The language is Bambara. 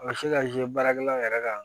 A ka se ka baarakɛlaw yɛrɛ ka